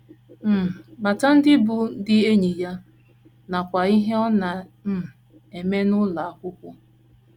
um Mata ndị bụ́ ndị enyi ya, nakwa ihe ọ na - um eme n’ụlọ akwụkwọ.